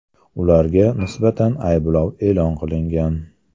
Ularga nisbatan ayblov e’lon qilingan.